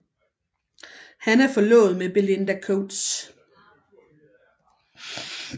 Han er forlovet med Belinda Coates